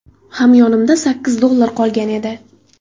Hamyonimda sakkiz dollar qolgan edi”.